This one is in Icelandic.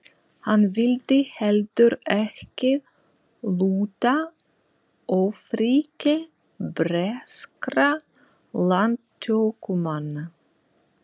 Hann vildi heldur ekki lúta ofríki breskra landtökumanna.